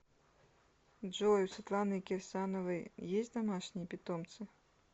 джой у светланы кирсановой есть домашние питомцы